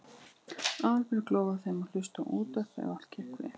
Aðalbjörg lofaði þeim að hlusta á útvarp ef allt gekk vel.